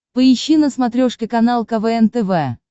поищи на смотрешке канал квн тв